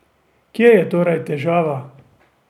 Kje je torej težava?